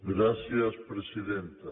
gràcies presidenta